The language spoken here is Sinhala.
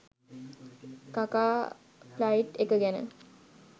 කකා ෆ්ලයිට් එක ගැන